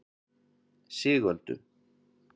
Sigöldu